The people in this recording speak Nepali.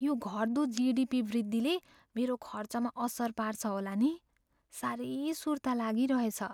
यो घट्दो जिडिपी वृद्धिले मेरो खर्चमा असर पार्छ होला नि। साह्रै सुर्ता लागिरहेछ।